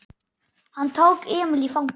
Hann tók Emil í fangið.